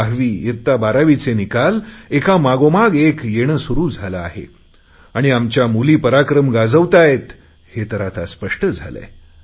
दहावीबारावीचे निकाल एकामागोमाग एक येणे सुरु झाले आहे आणि आमच्या मुली पराक्रम गाजवत आहे हे तर आता स्पष्ट झाले आहे